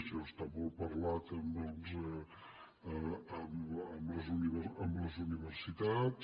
això està molt parlat amb les universitats